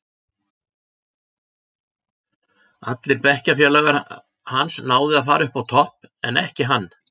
Allir bekkjafélagar hans náðu að fara upp á topp, en ekki hann.